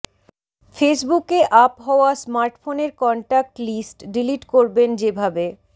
ফেসবুকে আপ হওয়া স্মার্টফোনের কন্টাক্ট লিস্ট ডিলিট করবেন যেভাবে